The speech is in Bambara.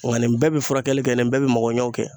Nga nin bɛɛ bi furakɛli kɛ nin bɛɛ bi magɔ ɲɛw kɛ.